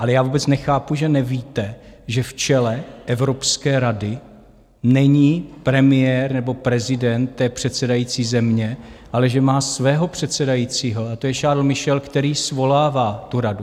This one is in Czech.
Ale já vůbec nechápu, že nevíte, že v čele Evropské rady není premiér nebo prezident té předsedající země, ale že má svého předsedajícího, a to je Charles Michel, který svolává tu radu.